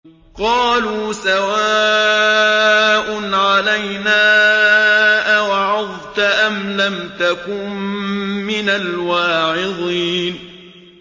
قَالُوا سَوَاءٌ عَلَيْنَا أَوَعَظْتَ أَمْ لَمْ تَكُن مِّنَ الْوَاعِظِينَ